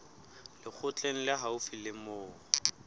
lekgotleng le haufi le moo